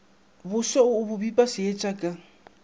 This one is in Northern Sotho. boso bo pipa seetša sa